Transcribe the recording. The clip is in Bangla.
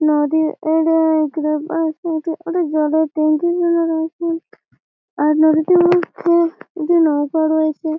নদীর ওটা জলের টাংকি রয়েছে আর নদীটির মধ্যে দুটি নৌকা রয়েছে।